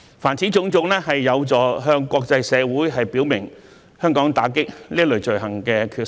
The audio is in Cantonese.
凡此種種，有助向國際社會表明香港打擊這類罪行的決心。